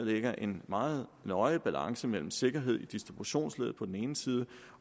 lægger en meget nøje balance imellem sikkerhed i distributionsleddet på den ene side